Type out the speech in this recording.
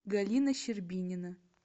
галина щербинина